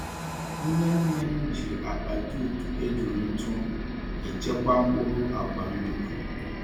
Nne nne m ji akpa jute ejuru ntụ echekwa mkpụrụ agwa nduru.